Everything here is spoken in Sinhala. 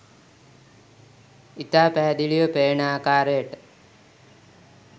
ඉතා පැහැදිලිව පෙනෙන ආකාරයට